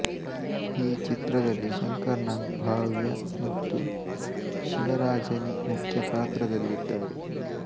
ಈ ಚಿತ್ರದಲ್ಲಿ ಶಂಕರ್ ನಾಗ್ ಭಾವ್ಯಾ ಮತ್ತು ಶಿವರಾಜನಿ ಮುಖ್ಯ ಪಾತ್ರದಲ್ಲಿದ್ದಾರೆ